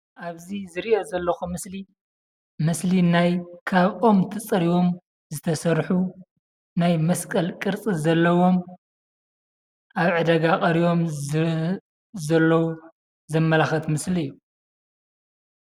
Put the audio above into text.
ኣብዚ ዝሪኦ ዘለኹ ምስሊ ምስሊ ናይ ካብ ኦም ተፀሪቦም ዝተሰርሑ ናይ መስቀል ቅርፂ ዘለዎም ኣብ ዕዳጋ ቀሪቦም ዘለዉ ዘመላኽት ምስሊ እዩ።